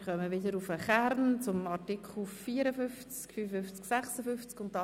Wir kehren wieder zum Kern der Diskussion zurück, zu den Artikeln 54, 55 und 56.